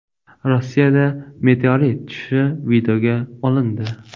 Rossiyada meteorit tushishi videoga olindi .